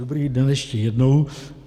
Dobrý den ještě jednou.